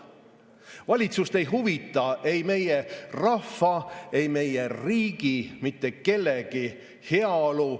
Valitsust ei huvita ei meie rahva, ei meie riigi ega mitte kellegi heaolu.